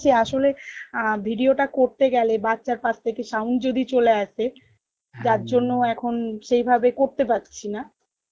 আসলে আহ video টা করতে গেলে বাচ্চার পাস থেকে sound যদি চলে আসে যার জন্য এখন সেই ভাবে করতে পারছি না